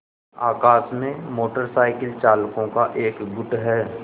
आकाश में motorcycle चालकों का एक गुट है